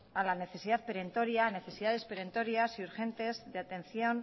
a la necesidad perentoria necesidades perentorias y urgentes de atención